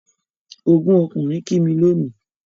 Ọgún ọkùnrin kí mí lónìí